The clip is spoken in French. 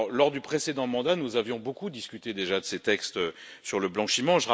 Lors du précédent mandat, nous avions beaucoup discuté déjà de ces textes sur le blanchiment.